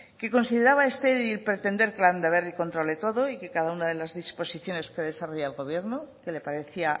que consideraba estéril pretender que landaberri controle todo y que cada una de las disposiciones que desarrolla el gobierno que le parecía